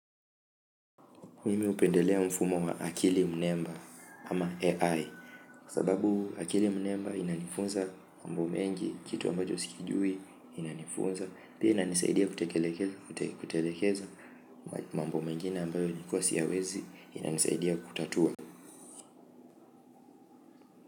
Mimi hupendelea mfumo wa akili mnemba, ama AI, kwa sababu akili mnemba, inanifunza mambo mengi kitu ambacho si kijui inanifunza, pia inanisaidia kutekeleza mambo mengine ambayo nilikua siyawezi, inanisaidia kutatua.